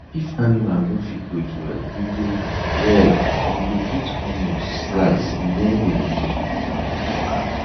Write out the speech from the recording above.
if animal no fit breathe well we go well we go put onion slice near dem nose to unblock am